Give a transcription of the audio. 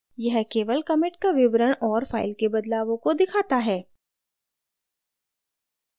यह केवल commit का विवरण और file के बदलावों को दिखाता है